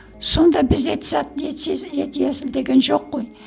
сонда бізде деген жоқ қой